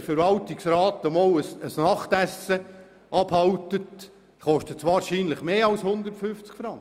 Wenn der Verwaltungsrat einmal ein Nachtessen veranstaltet, kostet das wohl mehr als 150 Franken.